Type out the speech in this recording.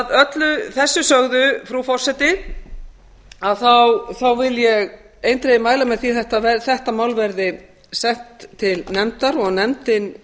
öllu þessu sögðu frú forseti vil ég eindregið mæla með því að þetta mál verði sett til nefndar og að nefndin